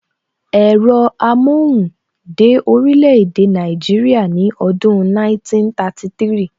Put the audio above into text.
Ẹ̀rọ amóhùn dé orílè èdè Nàìjíríà ní ọdún 1933